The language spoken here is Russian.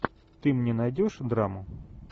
ты мне найдешь драму